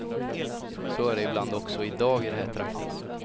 Så är det ibland också i dag i de här trakterna.